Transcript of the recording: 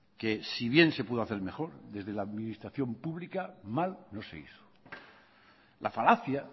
que si bien se pudo hacer mejor desde la administración pública mal no se hizo la falacia